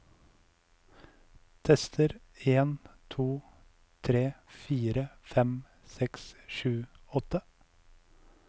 Tester en to tre fire fem seks sju åtte